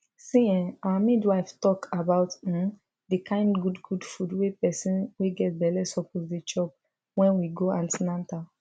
see um our midwife talk about um the kind good good food wey person wey get belle suppose dey chop wen we go an ten atal